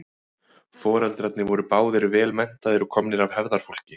Foreldrarnir voru báðir vel menntaðir og komnir af hefðarfólki.